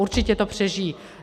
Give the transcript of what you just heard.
Určitě to přežijí.